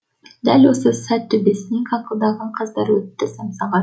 дәл осы сәт төбесінен қаңқылдаған қаздар өтті самсаған